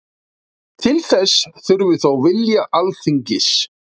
Til þess þurfi þó vilja Alþingis